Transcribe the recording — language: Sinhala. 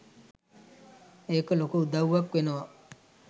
ඒක ලොකු උදව්වක් වෙනවා